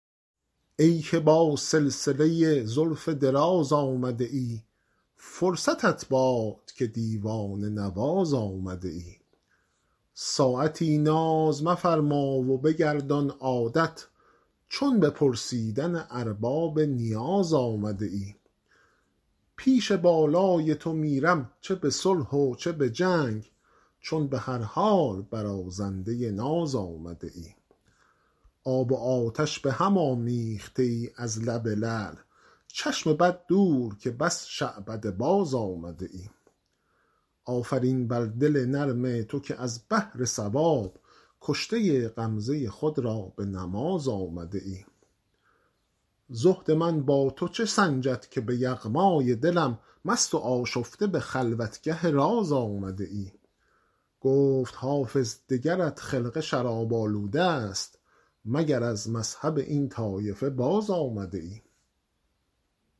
ای که با سلسله زلف دراز آمده ای فرصتت باد که دیوانه نواز آمده ای ساعتی ناز مفرما و بگردان عادت چون به پرسیدن ارباب نیاز آمده ای پیش بالای تو میرم چه به صلح و چه به جنگ چون به هر حال برازنده ناز آمده ای آب و آتش به هم آمیخته ای از لب لعل چشم بد دور که بس شعبده باز آمده ای آفرین بر دل نرم تو که از بهر ثواب کشته غمزه خود را به نماز آمده ای زهد من با تو چه سنجد که به یغمای دلم مست و آشفته به خلوتگه راز آمده ای گفت حافظ دگرت خرقه شراب آلوده ست مگر از مذهب این طایفه باز آمده ای